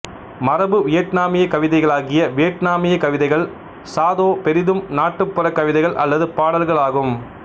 மரபு வியட்நாமியக் கவிதைகளாகிய வியட்நாமியக் கவிதைகள்சா தோ பெரிதும் நாட்டுப்புறக் கவிதைகள் அல்லது பாடல்கள் ஆகும்